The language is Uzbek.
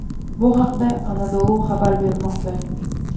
Bu haqda Anadolu xabar bermoqda .